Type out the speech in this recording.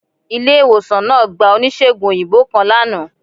Ile-iwosan naa gba onísegùn oyinbo kan lana